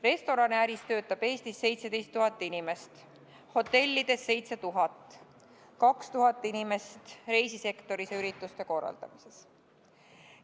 Restoraniäris töötab Eestis 17 000 inimest, hotellides 7000, reisisektoris ja ürituste korraldamises 2000 inimest.